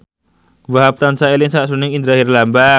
Wahhab tansah eling sakjroning Indra Herlambang